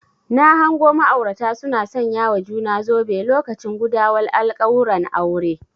Na hango ma'aurata suna sanyawa juna zobe lokacin gudawar alkawuran aure